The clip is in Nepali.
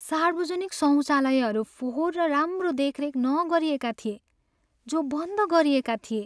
सार्वजनिक शौचालयहरू फोहोर र राम्रो देखरेख नगरिएका थिए, जो बन्द गरिएका थिए।